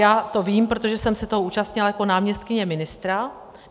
Já to vím, protože jsem se toho účastnila jako náměstkyně ministra.